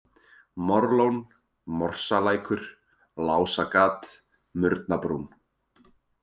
Morlón, Morsalækur, Lásagat, Murnabrún